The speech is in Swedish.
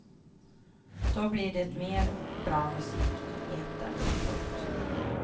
Då blir det mer bra musik i etern. punkt